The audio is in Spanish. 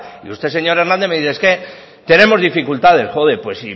y usted señor hernández me dice es que tenemos dificultades pues